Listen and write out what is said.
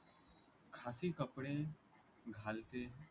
खासी कपडे घालते